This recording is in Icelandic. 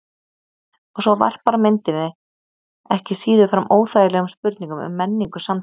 Og svo varpar myndin ekki síður fram óþægilegum spurningum um menningu samtímans.